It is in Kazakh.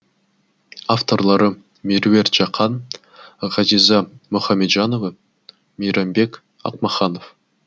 авторлары меруерт жақан ғазиза мұхамеджанова мейрамбек ақмаханов